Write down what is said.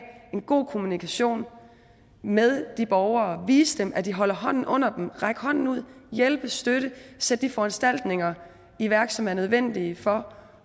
en god kommunikation med de borgere vise dem at de holder hånden under dem række hånden ud hjælpe støtte sætte de foranstaltninger i værk som er nødvendige for